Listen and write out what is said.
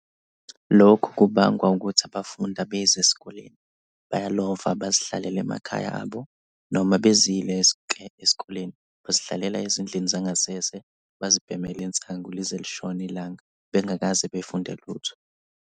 Lokhu kubangwa ukuthi abafundi abezi esikoleni, bayalova bazihlalele emakhaya abo noma bezile ke eskoleni bazihlalela ezindlini zangasese bazibhemele insango lize lishone ilanga bengakaze bafunde lutho.